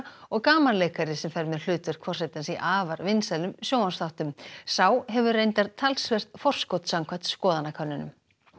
og gamanleikari sem fer með hlutverk forsetans í afar vinsælum sjónvarpsþáttum sá hefur reyndar talsvert forskot samkvæmt skoðanakönnunum